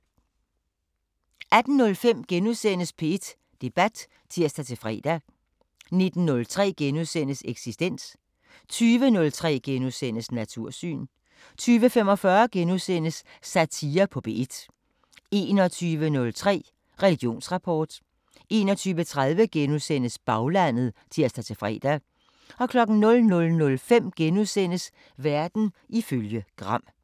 18:05: P1 Debat *(tir-fre) 19:03: Eksistens * 20:03: Natursyn * 20:45: Satire på P1 * 21:03: Religionsrapport 21:30: Baglandet *(tir-fre) 00:05: Verden ifølge Gram *